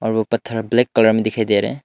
और वो पत्थर ब्लैक कलर में दिखाई दे रहे हैं।